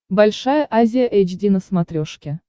большая азия эйч ди на смотрешке